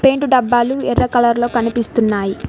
Paint డబ్బాలు ఎర్ర colour లో కనిపిస్తున్నాయి.